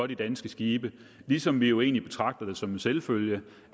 de danske skibe ligesom vi jo egentlig betragter det som en selvfølge